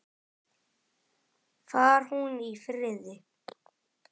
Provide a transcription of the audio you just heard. Far hún í friði.